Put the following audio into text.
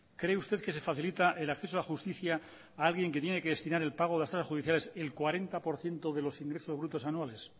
cree usted que se facilita el acceso a la justicia a alguien que tiene que destinar el pago de las tasas judiciales el cuarenta por ciento de los ingresos brutos anuales